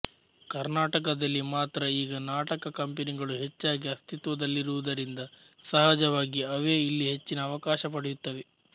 ಕರ್ನಾಟಕದಲ್ಲಿ ಮಾತ್ರ ಈಗ ನಾಟಕ ಕಂಪನಿಗಳು ಹೆಚ್ಚಾಗಿ ಅಸ್ತಿತ್ವದಲ್ಲಿರುವುದರಿಂದ ಸಹಜವಾಗಿ ಅವೇ ಇಲ್ಲಿ ಹೆಚ್ಚಿನ ಅವಕಾಶ ಪಡೆಯುತ್ತವೆ